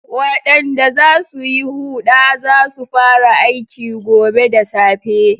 Waɗanda za su yi huɗa za su fara aiki gobe da safe.